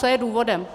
Co je důvodem?